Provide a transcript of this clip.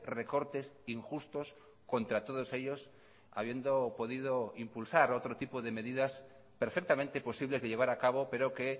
recortes injustos contra todos ellos habiendo podido impulsar otro tipo de medidas perfectamente posibles de llevar a cabo pero que